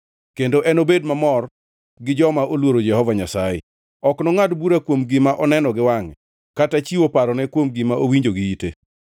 kendo enobed mamor gi joma oluoro Jehova Nyasaye. Ok nongʼad bura kuom gima oneno giwangʼe, kata chiwo parone kod gima owinjo gi ite;